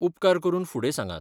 उपकार करून फुडें सांगात .